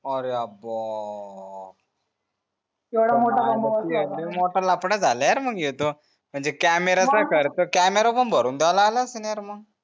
आऱ्या बो लय मोठा लफडा जाला यार मंग योत म्हणजे camera चा खर्च camera पण भरून द्यावला लागला असेल यार मग